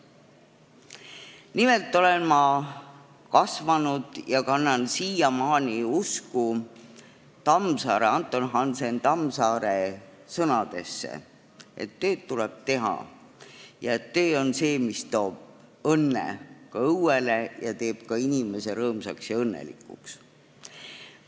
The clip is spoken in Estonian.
Nimelt olen ma kasvanud, uskudes – ja kannan siiamaani seda usku – Anton Hansen Tammsaare sõnadesse, et tööd tuleb teha, töö on see, mis toob õnne õuele ning teeb ka inimese rõõmsaks ja õnnelikuks.